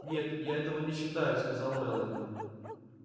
нет я этого не считаю сказала мелани